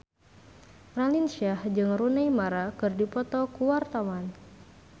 Raline Shah jeung Rooney Mara keur dipoto ku wartawan